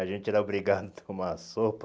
A gente era obrigado a tomar sopa.